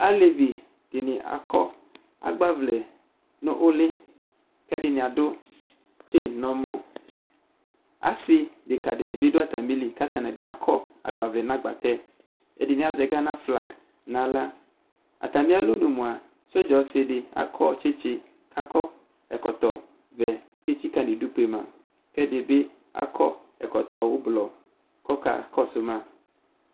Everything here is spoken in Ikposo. Alevi dɩnɩ akɔ agbavlɛ nʋ ʋlɩ, kʋ ɛdɩnɩ adʋ tseni nʋ ɔmɔ Asɩ adekǝ nɩ bɩ dʋ atamili kʋ atanɩ akɔ agbavlɛ nʋ agbatɛ Ɛdɩnɩ azɛ ganaflagɩ nʋ aɣla Atamɩ alɔnʋ mʋa sɔdza ɔsɩ dɩ akɔ tsɩtsɩ, kʋ akɔ ɛkɔtɔvɛ kʋ etsikǝ nʋ idu kpe ma Kʋ ɛdɩ bɩ akɔ ɛkɔtɔ ʋblɔ kʋ ɔka kɔsʋ ma